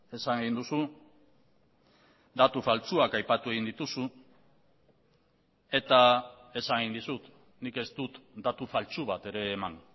esan egin duzu datu faltsuak aipatu egin dituzu eta esan egin dizut nik ez dut datu faltsu bat ere eman